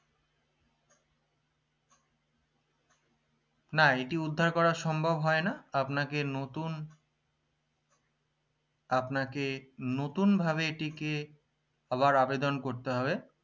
না এটি উদ্ধার করা সম্ভব হয় না আপনাকে নতুন ভাবে এটিকে আবার আবেদন করতে হবে